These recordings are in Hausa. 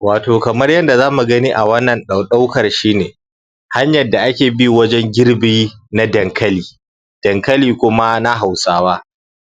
wato kamar yadda zamu gani a wannan ɗaukar shine hanyar da ake bi na wajen girbe na dankali dankali kuma na hausawa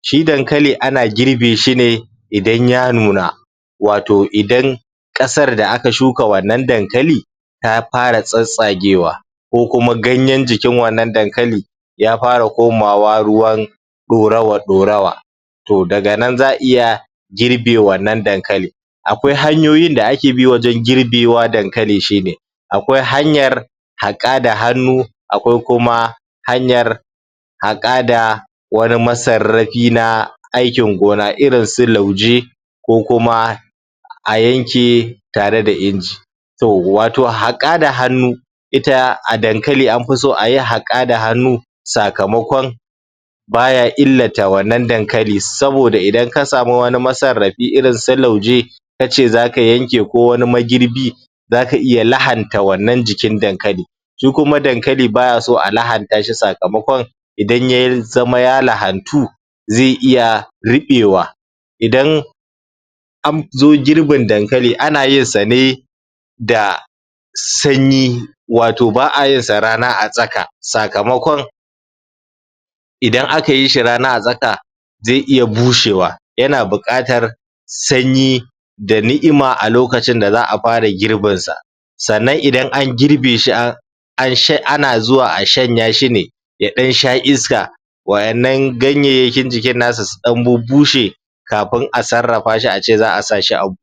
shi dankali ana girbe shine idan ya nuna wato idan ƙasar da aka shuka wannan dankali ta fara tsatstsagewa ko kuma ganyen jikin wannan dankali ya fara koma wa ruwan ɗurawa ɗurawa to daga nan za'a iya girbe wannan dankali akwai hanyoyin da ake bi wajen girbewa dankali shine akwai hanyar haƙa da hannu akwai kuma hanyar haƙa da wani masarrafi na aiki gona irin su lauje ko kuma a yanke tare da inji to wato haƙa da hannu ita a dankali anfi so ayi haƙa da hannu sakamakon baya illata wannan dankali saboda idan ka samu wani masarrafi irin su lauje kace zaka yanke ko kuma wani magirbi zaka iya lahanta wannan jikin dankali shi kuma dankali baya so a lahanta shi sakamakon idan ya zama ya lahantu ze iya riɓe wa idan anzo girbin dankali ana yinsa ne da se wato ba'a yinsa rana a tsaka sakamakon idan aka yishi rana a tsaka ze iya bushewa yana buƙatar sanyi da ni'ima a lokacin da za'a fara girbin sa sannan idan an girbe shi an ana zuwa a shanya shine ya ɗan sha iska waɗannan ganyayyakin jikin nasa su ɗan bub bushe kafi a sarrafashi ace za'a sashi a buhu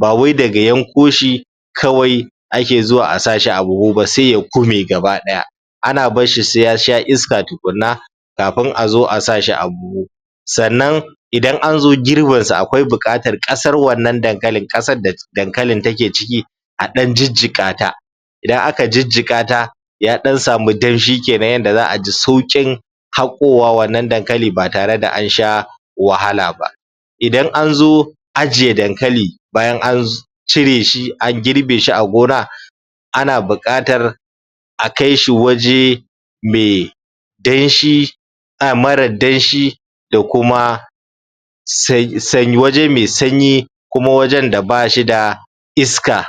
bawai daga yanko shi kawai ake zuwa a sashi a buhu ba se ya kume gaba ɗaya ana barshi se yasha iska tukunna kafin azo a sashi a buhu sannan idan anzo girbin sa akwai buƙatar ƙasar wannan dankalin ƙasar da dankalin take ciki a ɗan jijjiƙata idan aka jijjiƙata yaɗan samu danshi kenan yana da yanda za'a ji sauƙin haƙowa wannan dankali ba tare da ansha wahala ba idan anzo ajiye dankali bayan an cire shi an girbe shi a gona ana buƙatar a kaishi waje me danshi a mara danshi da kuma sanyi waje me sanyi kuma wajen da bashi da iska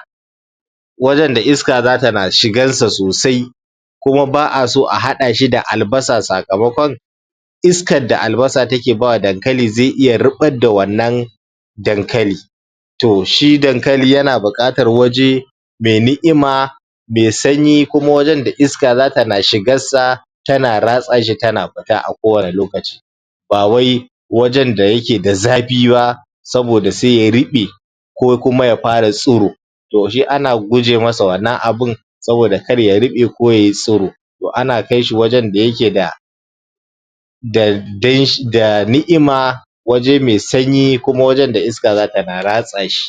wajen da iska zata na shigar sa sosai kuma ba'a so a haɗa shi da albasa sakamakon iska da albasa take bawa dankali ze iya riɓar da wannan dankali to shi dankali yana buƙatar waje me ni'ima me sanyi kuma wajen da iska zata na shigar sa tana ratsa shi tana fita a ko wanne lokaci ba wai wajen da yake da zafi ba saboda se ya riɓe ko kuma ya fara tsiro to shi ana guje masa wannan abun saboda kar ya riɓe ko yai tsiro to ana kaishi wajen da yake da da danshi da ni'ima waje me sanyi kuma wajen da iska zata na ratsa shi